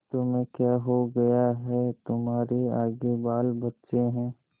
तुम्हें क्या हो गया है तुम्हारे आगे बालबच्चे हैं